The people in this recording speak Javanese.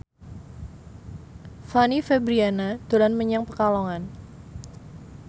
Fanny Fabriana dolan menyang Pekalongan